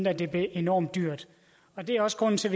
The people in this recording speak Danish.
at det blev enormt dyrt det er også grunden til